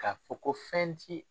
Ka fɔ ko fɛn ti